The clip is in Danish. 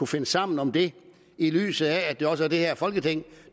finde sammen om det i lyset af at det også er det her folketing